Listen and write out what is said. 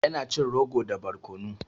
Ya na cin rogo da barkono.